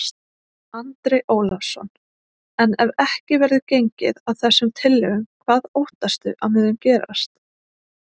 Andri Ólafsson: En ef ekki verður gengið að þessum tillögum, hvað óttastu að muni gerast?